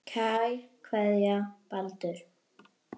Kær kveðja, Baldur